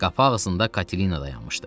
Qapı ağzında Katelina dayanmışdı.